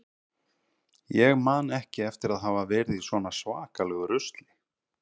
Ég man ekki eftir að hafa verið í svona svakalegu rusli.